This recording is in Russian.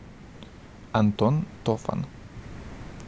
антон тофан